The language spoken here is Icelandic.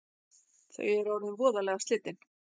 Þau eru orðin voðalega slitin